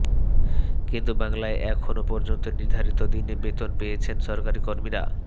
কিন্তু বাংলায় এখনও পর্যন্ত নির্ধারিত দিনে বেতন পেয়েছেন সরকারি কর্মীরা